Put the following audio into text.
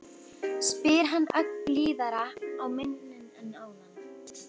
spyr hann ögn blíðari á manninn en áður.